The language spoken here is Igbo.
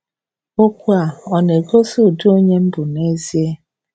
“Okwu a” ọ̀ na-egosi ụdị onye m bụ n'ezie?'